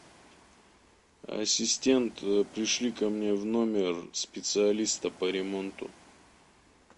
ассистент пришли ко мне в номер специалиста по ремонту